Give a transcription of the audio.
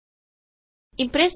Impress ਦੇ ਵਿਵਿਧ toolbars